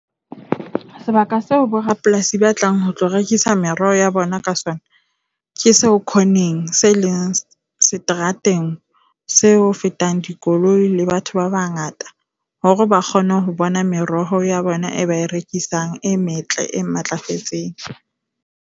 Sebaka seo borapolasi ba tlang ho tlo rekisa mereho ya bona ka sona ke seo corne-ng se leng seterateng seo ho fetang dikoloi le batho ba bangata hore ba kgone ho bona meroho ya bona eo ba e rekisang e metle, e matlafetseng.